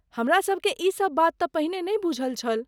हमरासबकेँ ई सब बात तँ पहिने नै बुझल छल।